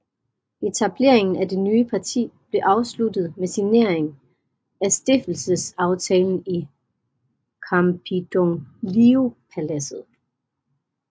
Etableringen af det nye parti blev afsluttet med signering af stiftelsesaftalen i Campidogliopaladset